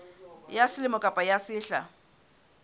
ya selemo kapa ya sehla